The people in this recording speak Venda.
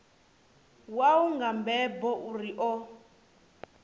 wau nga mbebo uri a